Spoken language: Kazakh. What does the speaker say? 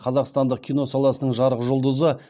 қазақстандық кино саласының жарық жұлдызы